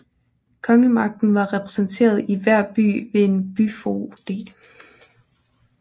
Kongemagten var repræsenteret i hver by ved en byfoged